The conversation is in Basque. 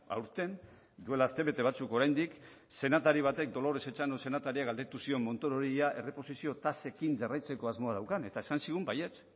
aurten duela astebete batzuk oraindik senatari batek dolores etxano senatariak galdetu zion montorori ea erreposizio tasekin jarraitzeko asmoa daukan eta esan zigun baietz